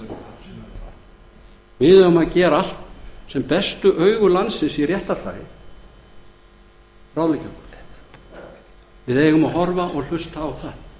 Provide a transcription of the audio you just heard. hnekkt við eigum að gera allt sem bestu augu landsins í réttarfari ráðleggja okkur við eigum að horfa og hlusta á það